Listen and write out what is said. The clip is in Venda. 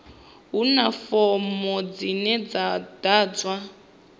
huna fomo dzine dza ḓadzwa